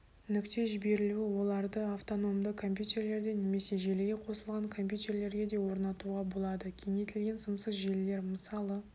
нүкте жіберілуі оларды автономды компьютерлерде немесе желіге қосылған компьютерлерге де орнатуға болады кеңейтілген сымсыз желілер мысалы